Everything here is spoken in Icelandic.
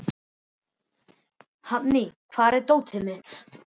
Hafný, hvar er dótið mitt?